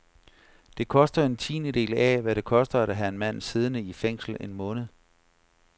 Det koster en tiendedel af, hvad det koster at have en mand siddende i fængsel en måned.